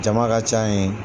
Jama ka ca yen